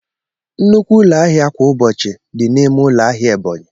Nnukwu ụlọ ahịa kwa ụbọchị dị n'ime ụlọ ahịa Ebonyi.